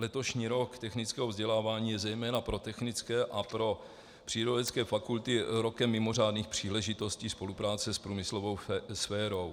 Letošní rok technického vzdělávání je zejména pro technické a pro přírodovědecké fakulty rokem mimořádných příležitostí spolupráce s průmyslovou sférou.